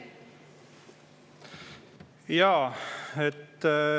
Jaa.